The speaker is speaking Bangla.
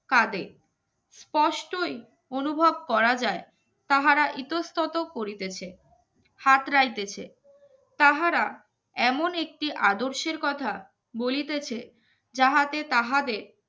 কাঁদে স্পষ্টই অনুভব করা যায় তাহারা ইতস্তত করিতেছে হাত রাইতেছে তাহারা এমন একটি আদর্শের কথা বলিতেছে যাহাতে তাহাদের